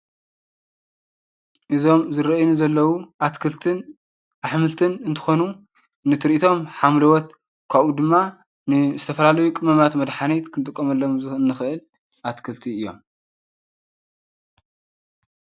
እዞም ዝረአዩኒ ዘለው አትክልትን አሕምልትን እንትኾኑ ንትርኢቶም ሓምለዎት ከውኡ ድማ ንዝተፈላለዩ ቅመማት መድሕኒታት ክንጥቀመሎም ንኽእል እትክልቲ እዮም።